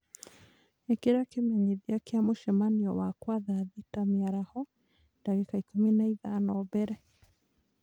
ĩkĩra kĩmenyithia kia mũcemanio wakwa thaa thita cia mĩaraho, ndagĩka ikũmi na ithano mbere